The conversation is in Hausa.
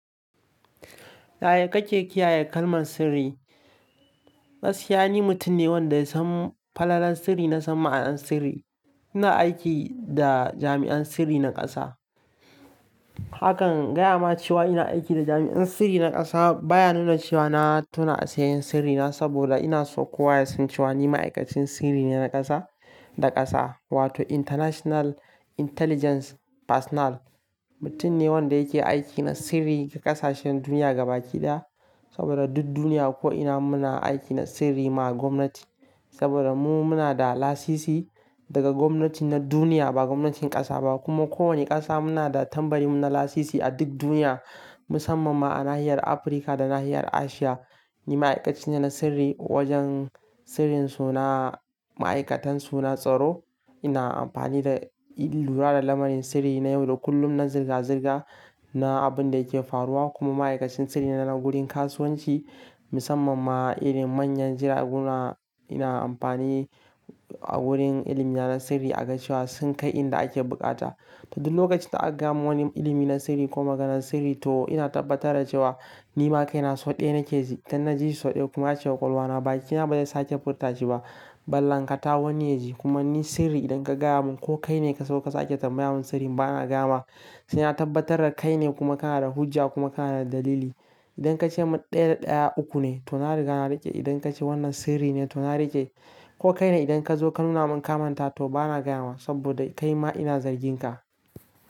Yaya kake kiyaye kalman sirri. Gaskiya ni mutum ne wanda ya san falalar sirri na san ma'anar sirri. Ina aiki da jami'an sirri na ƙasa. Haka gaya ma cewa ina aiki da jami'an sirri na ƙasa baya nuna cewa na tona asirin sirrina saboda ina so kowa ya san cewa ni ma'aikacin sirri ne na ƙasa, da ƙasa wato International Intelligence Personal. Mutum ne wanda yake aiki na sirri ga ƙasashen duniya gabaki ɗaya saboda duk duniya ko'ina muna aiki na sirri ma gwamnati saboda mu muna da lasisi daga gwamnatin na duniya ba gwamnatin ƙasa ba kuma kowane ƙasa muna da tambarin mu na lasisi a duk duniya musamman ma a nahiyar Afirka da nahiyar Asiya. Ni ma'aikacin ne na sirri wajen sirrin suna ma'aikatan suna tsaro. Ina amfani da lura da lamarin sirri na yau da kullum na zirga-zirga na abun da yake faruwa kuma ma'aikacin sirri na gurin kasuwanci musamman ma irin manyan jiragun na ina amfani a wurin ilimina na sirri a ga cewa sun kai inda ake buƙata. To duk lokacin da aka gama wani ilimi na sirri ko maganar sirri to ina tabbatar da cewa ni ma kai na sau ɗaya na ke ji. Idan na ji sau ɗaya kuma ace wa ƙwalwa na bakina ba zai sake furta shi ba. Ban lanƙata wani yaji kuma ni sirri idan ka gaya mun ko kai ne ka so ka sake tambaya mun sirrin bana gayama sai na tabbatar kai ne kuma kana da hujja kuma kana da dalili. Idan ka ce mun ɗaya da ɗaya uku ne to na riga na riƙe. Idan ka ce wannan sirri ne to na riƙe. Ko kai ne idan ka zo ka nuna mun kamanta to bana gaya ma saboda kai ma ina zargin ka."